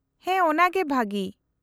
-ᱦᱮᱸ, ᱚᱱᱟᱜᱮ ᱵᱷᱟᱹᱜᱤ ᱾